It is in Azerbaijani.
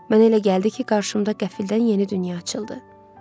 Mənə elə gəldi ki, qarşımda qəfildən yeni dünya açıldı.